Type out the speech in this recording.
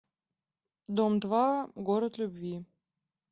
дом два город любви